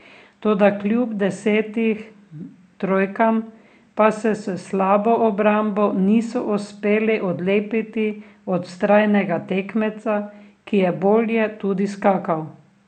Toda kljub desetim trojkam pa se s slabo obrambo niso uspeli odlepiti od vztrajnega tekmeca, ki je bolje tudi skakal.